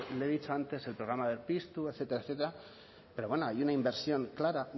le he dicho antes el programa berpiztu etcétera etcétera pero bueno hay una inversión clara